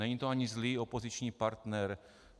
Není to ani zlý opoziční partner.